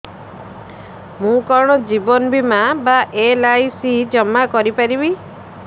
ମୁ କଣ ଜୀବନ ବୀମା ବା ଏଲ୍.ଆଇ.ସି ଜମା କରି ପାରିବି